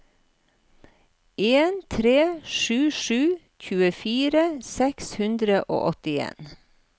en tre sju sju tjuefire seks hundre og åttien